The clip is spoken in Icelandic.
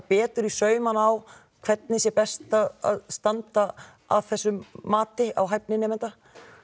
í saumana á hvernig sé best að standa að þessu mati á hæfni nemenda